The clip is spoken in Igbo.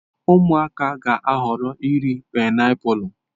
Ụmụaka ga-ahọrọ iri painiapulu.